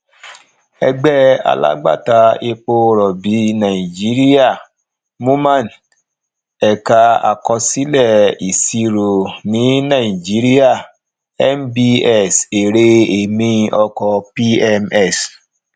ẹgbẹ alagbata epo robi nàìjíríà moman èka àkọsílẹ ìṣirò ní nàìjíríà nbs èrè èmi ọkọ pms